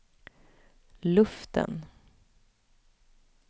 luften